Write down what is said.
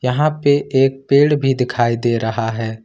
यहां पे एक पेड़ भी दिखाई दे रहा है।